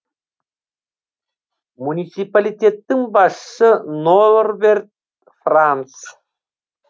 муниципалитеттің басшысы норберт франц